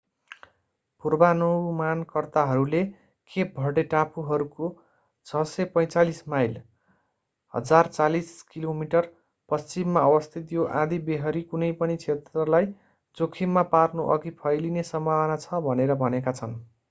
पूर्वानुमानकर्ताहरूले Cape Verde टापुहरूको 645 mile 1040 kilometre पश्चिममा अवस्थित यो आँधीबेहरी कुनै पनि क्षेत्रलाई जोखिममा पार्नुअघि फैलिने सम्भावना छ भनेर भनेका छन्‌।